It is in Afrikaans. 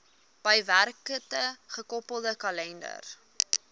bygewerkte gekoppelde kalender